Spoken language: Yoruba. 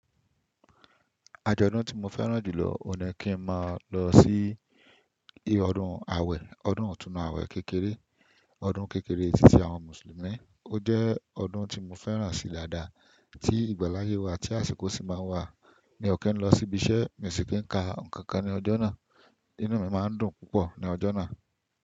Ajọ́dun tí mo fẹ́ràn jù lọ, o ni kí n máa lọ sí ile ọdún awẹ̀, ọdún itùnú awẹ̀ kékeré, ọdún kékeré ẹtí ti àwọn Mùsùlùmí. Ó jẹ́ ọdún tí mo fẹ́ràn sí daadá, tí ìgbàláyé wà, tí àsìkò sì máa wà mí o ki ń lọ sí ibi iṣẹ́, mio sí kí n ka nǹkankan ní ọjọ́ náà, inú mi máa ń dùn púpọ̀ ní ọjọ́ náà.